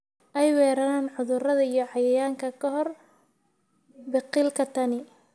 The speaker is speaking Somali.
ay weeraraan cudurrada iyo cayayaanka ka hor biqilka. Tani